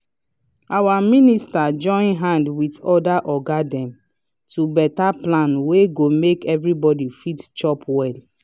our minister join hand with other oga dem to beta plan wey go make everybody fit chop well.